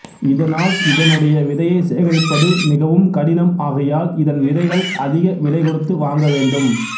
இதனால் இதனுடைய விதையை சேகரிப்பது மிகவும் கடினம் ஆகையால் இதன் விதைகள் அதிக விலை கொடுத்து வாங்கவேண்டும்